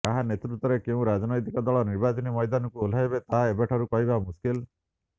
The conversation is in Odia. କାହା ନେତୃତ୍ୱରେ କେଉଁ ରାଜନୈତିକ ଦଳ ନିର୍ବାଚନୀ ମଇଦାନକୁ ଓହ୍ଲାଇବେ ତାହା ଏବେଠାରୁ କହିବା ମୁସ୍କିଲ୍